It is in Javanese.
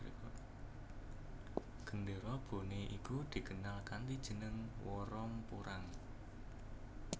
Gendéra Bone iku dikenal kanthi jeneng Woromporang